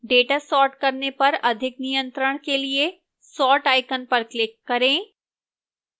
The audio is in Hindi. data sort करने पर अधिक नियत्रंण के लिए sort icon पर click करें